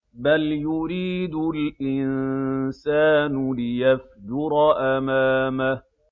بَلْ يُرِيدُ الْإِنسَانُ لِيَفْجُرَ أَمَامَهُ